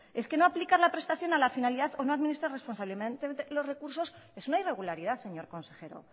es que no aplican la prestación a la finalidad o no administrar responsablemente los recursos es una irregularidad señor consejero